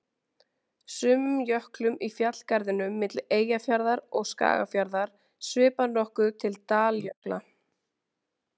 Sumum jöklum í fjallgarðinum milli Eyjafjarðar og Skagafjarðar svipar nokkuð til daljökla.